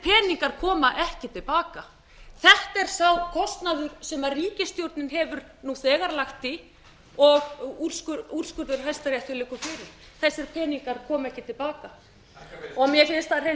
peningar koma ekki til baka þetta er sá kostnaður sem ríkisstjórnin hefur nú þegar lagt í og úr skurður hæstaréttar liggur fyrir þessir peningar koma ekki til baka mér finnst það hreint